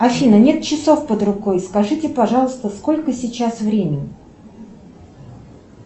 афина нет часов под рукой скажите пожалуйста сколько сейчас времени